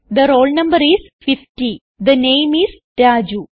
the roll no is 50 the name is Raju